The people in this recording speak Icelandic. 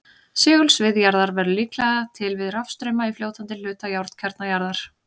Segulsvið jarðar verður líklega til við rafstrauma í fljótandi hluta járnkjarna jarðar.